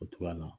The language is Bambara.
O togoya na